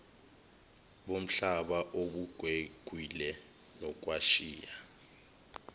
bomhlaba obugwegwile nokwashiya